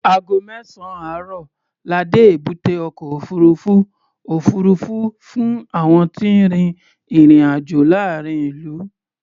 Ago mẹ́sàn-án àárọ̀ la dé èbúté ọkọ̀ òfuurufú òfuurufú fún àwọn tí ń rin ìrìn-àjọ̀ láàárín ìlú.